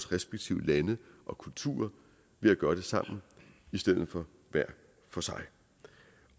respektive lande og kulturer ved at gøre det sammen i stedet for hver for sig